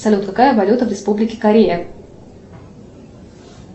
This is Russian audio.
салют какая валюта в республике корея